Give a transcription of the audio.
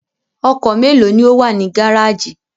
Ọkọ̀ mélòó ni ó wà ní gárájì?